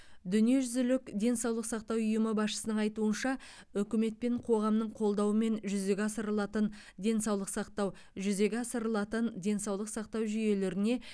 дүниежүзілік денсаулық сақтау ұйымы басшысының айтуынша үкімет пен қоғамның қолдауымен жүзеге асырылатын денсаулық сақтау жүзеге асырылатын денсаулық сақтау жүйелеріне